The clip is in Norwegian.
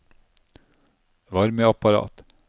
varmeapparat